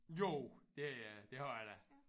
Jo det øh det har jeg da